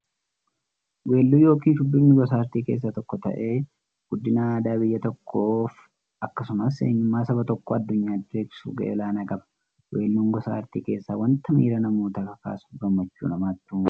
Weelluun yookin shubbifni gosa aartii keessaa tokko ta'ee, guddina aadaa biyya tokkoof akkasumas eenyummaa saba tokkoo addunyyaatti beeksisuuf gahee olaanaa qaba. Weelluun gosa artii keessaa wanta miira namootaa kakaasuufi gammachuu namatti uumudha.